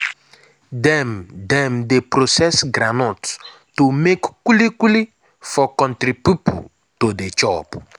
dem dem dey process groundnut to make kuli-kuli for country pipo to dey chop.